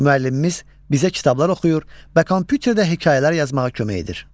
Müəllimimiz bizə kitablar oxuyur və kompyuterdə hekayələr yazmağa kömək edir.